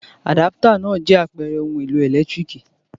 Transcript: Àdápútọ̀ náà jẹ́ àpẹẹrẹ ohun-èlò ẹ̀lẹ́tíríkì.